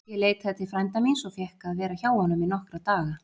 Ég leitaði til frænda míns og fékk að vera hjá honum í nokkra daga.